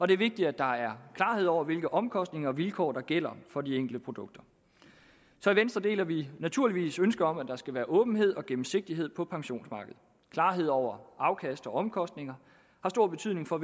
det er vigtigt at der er klarhed over hvilke omkostninger og vilkår der gælder for de enkelte produkter så i venstre deler vi naturligvis ønsket om at der skal være åbenhed og gennemsigtighed på pensionsmarkedet klarhed over afkast og omkostninger har stor betydning for